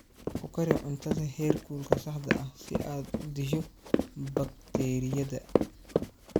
Ku kari cuntada heerkulka saxda ah si aad u disho bakteeriyada.